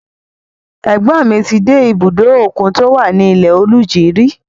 Ẹ̀gbọ́n ni ti dé ibùdó òkun tí ó wà ní Ilẹ-Oluji rí.